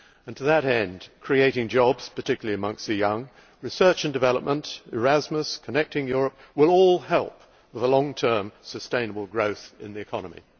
To that end, creating jobs, particularly among the young, as well as research and development, Erasmus and Connecting Europe, will all help long term sustainable growth in the economy.